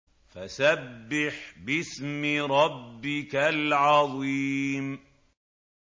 فَسَبِّحْ بِاسْمِ رَبِّكَ الْعَظِيمِ